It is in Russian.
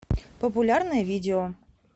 популярное видео